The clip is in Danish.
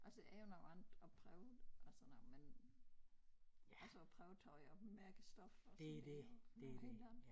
Altså er jo noget andet at prøve det og sådan noget men altså at prøve tøj og mærke stof og sådan det jo noget helt andet